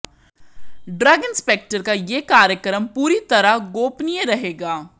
drug inspector का यह कार्यक्रम पूरी तरह गोपनीय रहेगा